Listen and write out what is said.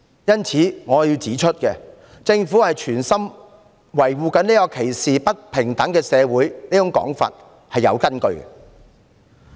因此，我要指出，指責政府存心維護歧視和不平等社會的說法是有其根據的。